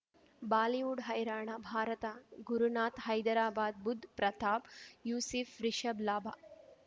Bollywood ಹೈರಾಣ ಭಾರತ ಗುರುನಾಥ್ ಹೈದರಾಬಾದ್ ಬುಧ್ ಪ್ರತಾಪ್ ಯೂಸಿಫ್ ರಿಷಬ್ ಲಾಭ